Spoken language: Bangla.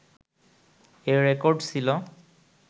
এ রেকর্ড ছিলো